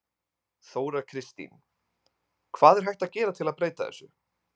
Þóra Kristín: Hvað er hægt að gera til að breyta þessu?